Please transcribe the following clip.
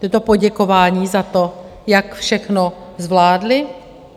To je to poděkování za to, jak všechno zvládly?